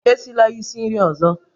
Esila isi nri ọzọ!